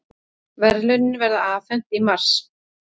Verðlaunin verða afhent í mars